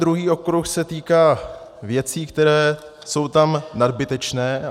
Druhý okruh se týká věcí, které jsou tam nadbytečné.